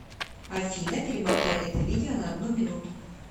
афина перемотай это видео на одну минуту